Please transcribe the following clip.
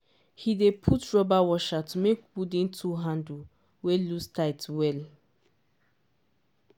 he dey put rubber washer to make wooden tool handle wey loose tight well.